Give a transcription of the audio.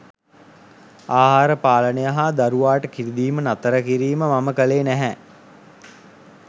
ආහාර පාලනය හා දරුවාට කිරිදීම නතර කිරීම මම කළේ නැහැ.